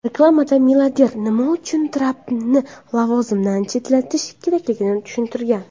Reklamada milliarder nima uchun Trampni lavozimdan chetlatish kerakligini tushuntirgan.